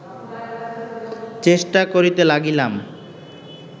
চেষ্টা করিতে লাগিলাম